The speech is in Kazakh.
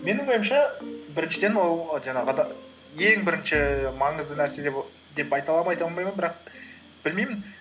менің ойымша біріншіден ол жаңағы ең бірінші маңызды нәрсе деп айта аламын ба айта алмаймын ба бірақ білмеймін